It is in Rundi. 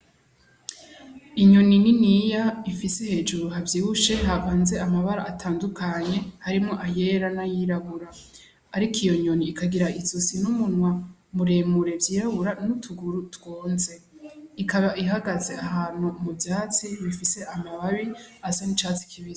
Inyoni niniya ifise hejuru havyibushe, havanze amabara atandukanye, harimwo ayera n'ayirabura. Ariko iyo nyoni ikagira izosi n'umunwa muremure vyirabura, n'utuguru twonze. Ikaba ihagaze ahantu mu vyatsi bifise amababi asa n'icatsi kibisi.